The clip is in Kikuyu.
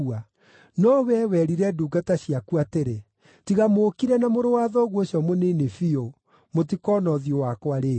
No wee werire ndungata ciaku atĩrĩ, ‘Tiga mũũkire na mũrũ wa thoguo ũcio mũnini biũ, mũtikoona ũthiũ wakwa rĩngĩ.’